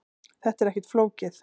Þetta er ekkert flókið